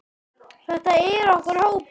Þetta er okkar hópur.